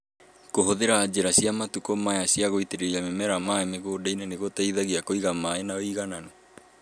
Kũhũthĩra njĩra cia matukũ maya cia gũitĩrĩria mĩmera maĩ mĩgũnda nĩ gũteithagia kũiga maĩ na ũigananĩru.